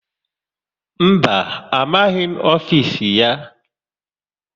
Mba, amaghị m ofisi ya.